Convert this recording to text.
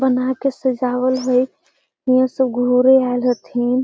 बना के के सजावल हई ईहा सब घरे आएल हथिन |